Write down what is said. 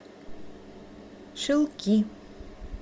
шилки